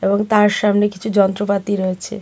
এবং তার সামনে কিছু যন্ত্রপাতি রয়েছে।